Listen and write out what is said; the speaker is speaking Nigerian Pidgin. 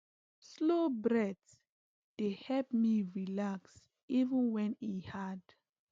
slow breath dey help me relax even when e hard